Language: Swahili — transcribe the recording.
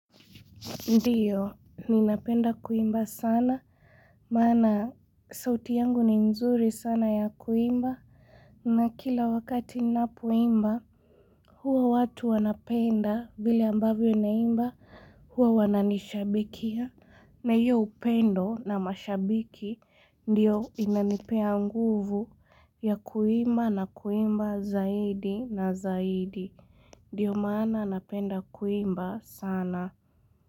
Ndio, ninapenda kuimba sana, maana sauti yangu ni nzuri sana ya kuimba, na kila wakati ninapoimba, huwa watu wanapenda, vile ambavyo naimba, huwa wananishabikia, na hiyo upendo na mashabiki, ndiyo inanipea nguvu ya kuimba na kuimba zaidi na zaidi. Ndiyo maana napenda kuimba sana.